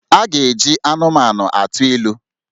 A ga-eji anụmanụ atụ ilu